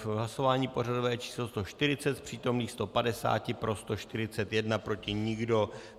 V hlasování pořadové číslo 140 z přítomných 150 pro 141, proti nikdo.